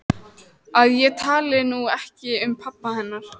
Að ég tali nú ekki um pabba hennar.